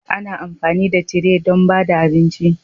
Ana amfani da tire don ba da abinci